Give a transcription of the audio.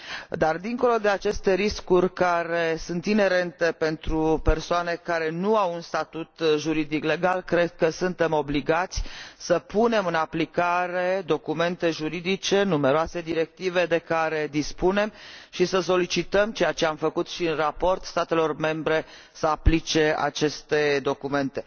Dar dincolo de aceste riscuri care sunt inerente pentru persoanele care nu au un statut juridic legal, cred că suntem obligați să punem în aplicare documente juridice și numeroasele directive de care dispunem și să solicităm, ceea ce am făcut și în raport, statelor membre să aplice aceste documente.